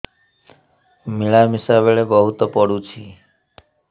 ମିଳାମିଶା ବେଳେ ବହୁତ ପୁଡୁଚି